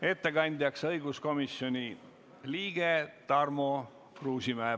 Ettekandjaks on õiguskomisjoni liige Tarmo Kruusimäe.